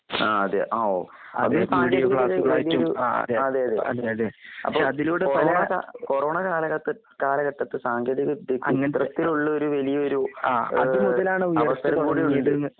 ആഅതെ. ആഒ. അതിൽ ക്ലാസ്സുകളായിട്ടെടുത്തു. ആഅതെ. അതെയതെ പക്ഷെ ഷതിലൂടെ കൊറോണക കൊറോണകാലഘട്ട കാലഘട്ടത്ത് സാങ്കേതികവിദ്യക്ക് അങ്ങനത്തത്തിള്ളൊരു വലിയൊരു അ അതുമുതലാണ്